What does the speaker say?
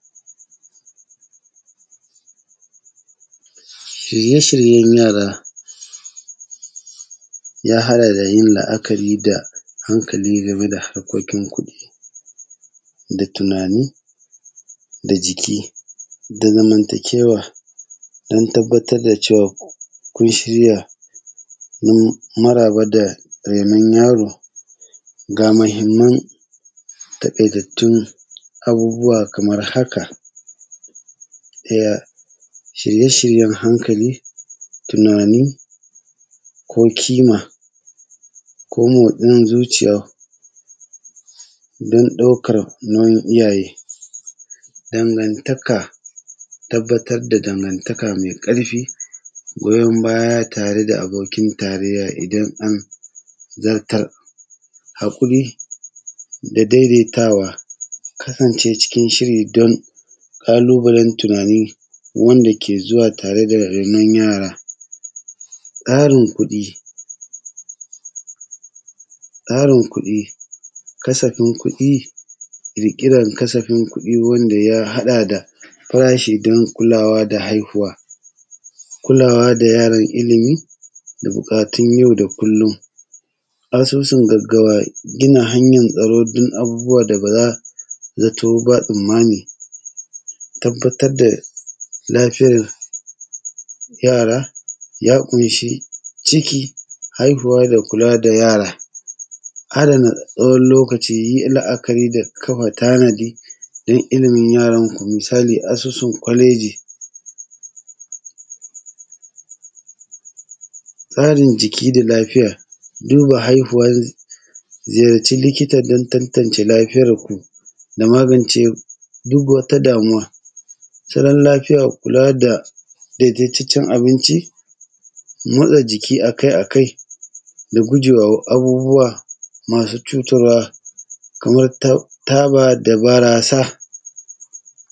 Shirye shiryen yara ya haɗa da yin la’akari da hankali game da harkokin kuɗi, da tunani, da jiki, da zamantakewa don tabbatar da cewa kun shirya don maraba da rainon yaro. Ga muhimman tabe dattin abubuwa kamar haka: ɗaya, shirye-shiryen hankali, tunani ko ƙima, ko motsin zuciya don ɗaukar nauyin iyaye, dangantaka, tabbatar da dangantaka mai karfi, goyon baya tare da abokin taraiya idan an zartar. Hakuri da daidaitawa, kasance cikin shiri don ƙalubalen tunani wanda ke zuwa tare da rainon yara. Tsarin kuɗi, tsarin kuɗi, kasafin kuɗi, ƙirƙiran kasafin kuɗi wanda ya haɗa da farashi don kulawa da haihuwa. Kulawa da yaron ilimi da buƙatun yau da kullum, asusun gaggawa, gina hanyar tsaro don abubuwa da ba zato ba tsammani. Tabbatar a lafiyar yara, ya ƙunshi ciki, haihuwa, da kula da yara, adana tsawon lokaci yi la’akari da kafa tanadi dan ilimin yaranku. Misali, asusun ƙwaleji. Tsarin jiki da lafiya, duba haihuwan, ziyarci likita dan tantance lafiyarku da magance duk wata damuwa. Salon lafiya, kula da daidaitacen abinci, motsa jiki akai akai idan gujewa abubuwa masu cutarwa, kamar taba da barasa.